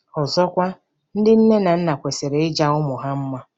Ọzọkwa, ndị nne na nna kwesịrị ịja ụmụ ha mma.